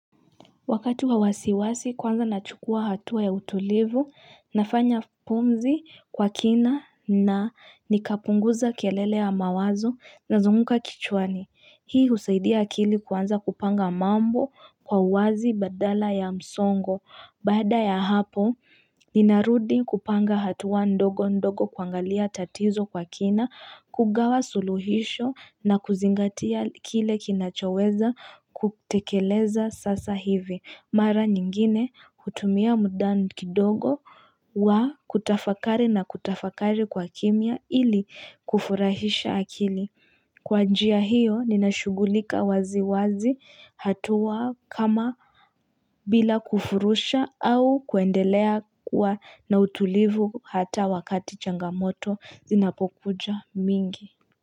Wakati kwa wasiwasi kwanza nachukua hatua ya utulivu nafanya pumzi kwa kina na nikapunguza kelele ya mawazo na zunguka kichwani. Hii husaidia akili kuanza kupanga mambo kwa uwazi badala ya msongo. Baada ya hapo ninarudi kupanga hatua ndogo ndogo kuangalia tatizo kwa kina kugawa suluhisho na kuzingatia kile kinachoweza kutekeleza sasa hivi. Mara nyingine kutumia mudan kidogo wa kutafakari na kutafakari kwa kimia ili kufurahisha akili. Kwa njia hiyo ninashughulika wazi wazi hatua kama bila kufurusha au kuendelea kuwa na utulivu hata wakati changamoto zinapokuja mingi.